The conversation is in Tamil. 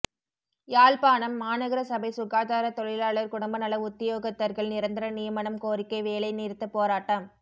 யாழ்ப்பாணம் மாநகர சபை சுகாதார தொழிலாளர் குடும்பநல உத்தியோகத்தர்கள் நிரந்தர நியமனம் கோரிக்கை வேலை நிறுத்த போராட்டம்